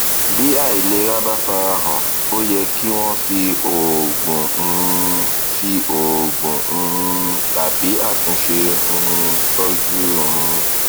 bí àìlera bá farahàn ó yẹ kí wọn fi òògùn um fi òògùn um tàbí àtúnṣe um tọjú un